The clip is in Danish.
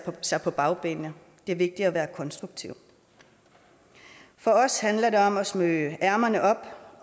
sig på bagbenene det er vigtig at være konstruktiv for os handler det om at smøge ærmerne op